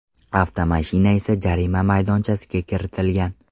Avtomashina esa jarima maydonchasiga kiritilgan.